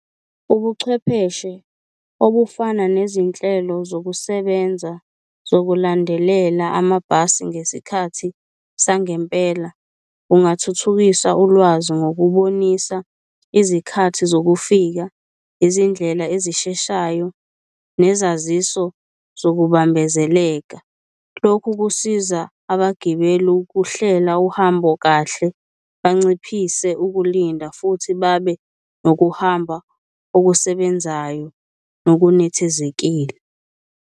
Ubuchwepheshe obufana nezinhlelo zokusebenza zokulandelela amabhasi ngesikhathi sangempela, kungathuthukisa ulwazi ngokubonisa izikhathi zokufika, izindlela ezisheshayo nezaziso zokubambezeleka. Lokhu kusiza abagibeli ukuhlela uhambo kahle, banciphise ukulinda futhi babe nokuhamba okusebenzayo nokunethezekile.